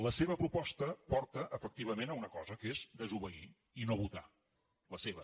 la seva proposta porta efectivament a una cosa que és a desobeir i no votar la seva